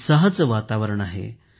उत्साहाचे वातावरण आहे